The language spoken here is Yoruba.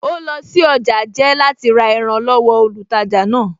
Ó lọ sí ọjà jẹ́ láti ra ẹran lọ́wọ olùtajà náà